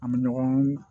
An bɛ ɲɔgɔn